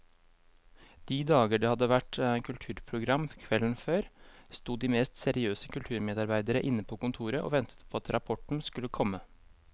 De dager det hadde vært kulturprogram kvelden før, sto de mest seriøse kulturmedarbeidere inne på kontoret og ventet på at rapporten skulle komme.